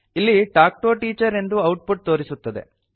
ಇಲ್ಲಿ talk to a teacher ಎಂದು output ತೋರಿಸುತ್ತದೆ